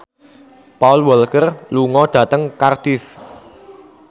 Paul Walker lunga dhateng Cardiff